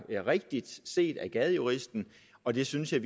rigtigt set af gadejuristen og det synes jeg